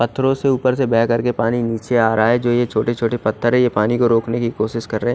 दातरो से उपर से दया करके पानी निचे आ रहा है जो यह छोटे छोटे पत्थर है यह पानी को रोकने की कोशिश कर रहे है।